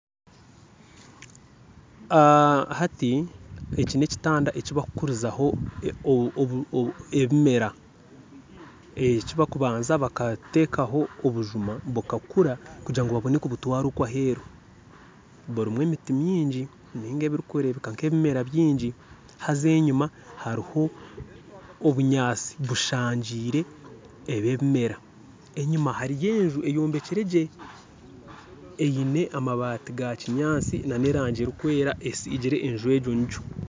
Hati eki n'ekitanda ekibarikukurizaho ebimera ekibarikubanza bakateekaho obujuma bukakura kugira ngu babone kubutwara okwe aheeru burimu emiti mingi nainga oburikureebeka nk'ebimera bingi haza enyima hariho obunyaatsi bushangiire ebyo ebimera enyima hariyo enju eyombekire gye eine amabaati ga kinyaatsi n'erangi erikwera esiigire enju egyo ngigyo.